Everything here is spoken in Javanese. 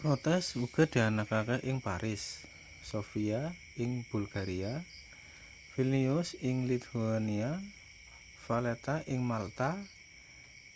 protes uga dianakake ing paris sofia ing bulgaria vilnius ing lithuania valetta ing malta